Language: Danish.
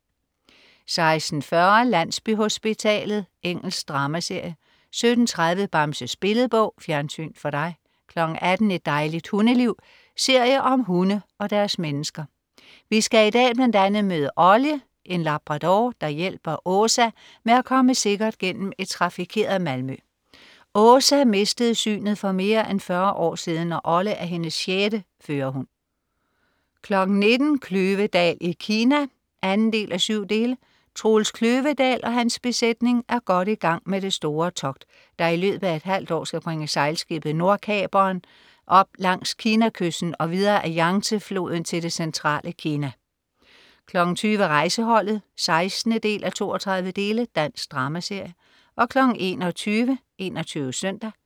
16.40 Landsbyhospitalet. Engelsk dramaserie 17.30 Bamses Billedbog. Fjernsyn for dig 18.00 Et dejligt hundeliv. serie om hunde og deres mennesker. Vi skal i dag bl.a. møde Olle, en labrador, der hjælper Åsa med at komme sikkert gennem et trafikeret Malmø. Åsa mistede synet for mere end 40 år siden, og Olle er hendes sjette førerhund 19.00 Kløvedal i Kina 2:7. Troels Kløvedal og hans besætning er godt i gang med det store togt, der i løbet af et halvt år skal bringe sejlskibet Nordkaperen op langs Kinakysten og videre ad Yangtze-floden til det centrale Kina 20.00 Rejseholdet 16:32. Dansk dramaserie 21.00 21 Søndag